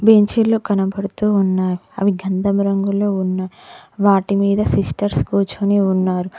బెంచీలు కనబడుతూ ఉన్నాయి అవి గంధం రంగులో ఉన్నాయ్ వాటి మీద సిస్టర్స్ కూర్చొని ఉన్నారు.